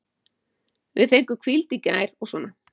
Við fengum hvíld í gær og svona.